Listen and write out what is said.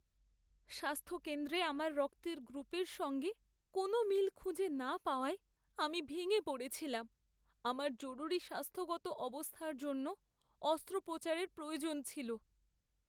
স্বাস্থ্যকেন্দ্রে আমার রক্তের গ্রুপের সঙ্গে কোনও মিল খুঁজে না পাওয়ায় আমি ভেঙে পড়েছিলাম। আমার জরুরি স্বাস্থ্যগত অবস্থার জন্য অস্ত্রোপচারের প্রয়োজন ছিল।